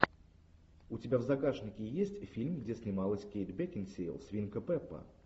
у тебя в загашнике есть фильм где снималась кейт бекинсейл свинка пеппа